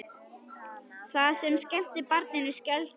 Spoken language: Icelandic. Það sem skemmti barninu skelfdi okkur.